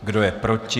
Kdo je proti?